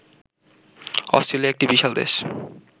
Australia একটি বিশাল দেশ